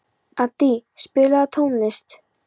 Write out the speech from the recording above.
Addý, spilaðu tónlist.